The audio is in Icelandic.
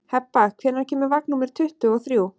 Hebba, hvenær kemur vagn númer tuttugu og þrjú?